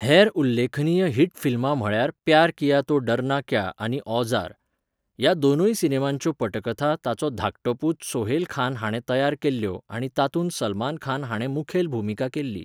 हेर उल्लेखनीय हिट फिल्मां म्हळ्यार प्यार किया तो डरना क्या आनी औजार. ह्या दोनूय सिनेमांच्यो पटकथा ताचो धाकटो पूत सोहेल खान हाणें तयार केल्ल्यो आनी तातूंत सलमान हाणें मुखेल भुमिका केल्ली.